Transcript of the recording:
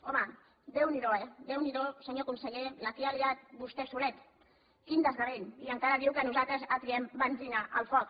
home déu n’hi do déu n’hi do senyor conseller la que ha liat vostè solet quin desgavell i encara diu que nosaltres atiem benzina al foc